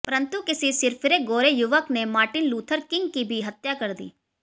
परन्तु किसी सिरफिरे गोरे युवक ने मार्टिन लूथर किंग की भी हत्या कर दी